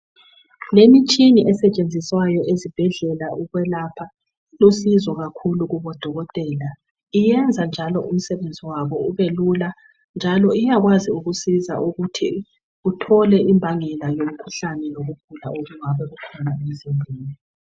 Lemitshina esetshenziswayo ezibhedlela ukwelapha. Ilusizo kakhulu kubodokotela. Iyenza njalo umsebenzi wabo ubelula, njalo iyakwazi ukusiza ukuthi uthole imbangela yomkhuhlane lokugula okungabe kukhona emzimbeni.